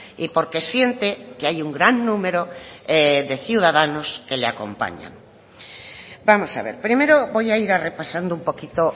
y porque siente que hay un gran número de ciudadanos que le acompaña vamos a ver primero voy a ir repasando un poquito